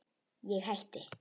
Ég hætti.